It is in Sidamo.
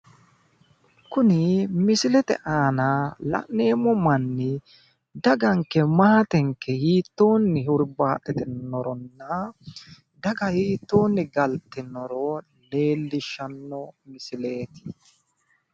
Kuni misilete aana la'nemmo manni, daganke maatenke hiitoonni hurbaaxxitannoronna daga hiittoonni galtinoro leellishshsnno misileeti.